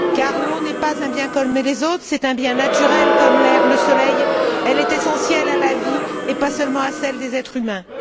Car l'eau n'est pas un bien comme les autres, c'est un bien naturel comme l'air, le soleil, elle est essentielle à la vie et pas seulement à celle des êtres humains.